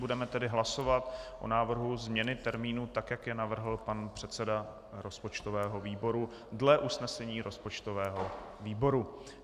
Budeme tedy hlasovat o návrhu změny termínu, tak jak ji navrhl pan předseda rozpočtového výboru dle usnesení rozpočtového výboru.